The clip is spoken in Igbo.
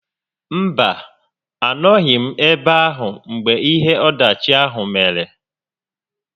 Mba, a nọghị m ebe ahụ mgbe ihe ọdachi ahụ mere